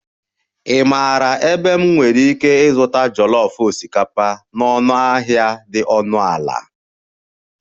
Ị maara ebe m nwere ike ịzụta jollof osikapa na ọnụahịa dị ọnụ ala?